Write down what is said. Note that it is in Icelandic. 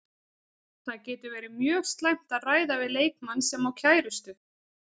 Það getur verið mjög slæmt að ræða við leikmann sem á kærustu.